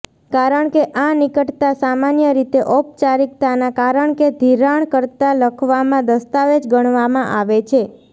કારણ કે આ નિકટતા સામાન્ય રીતે ઔપચારિકતાના કારણ કે ધિરાણકર્તા લખવામાં દસ્તાવેજ ગણવામાં આવે છે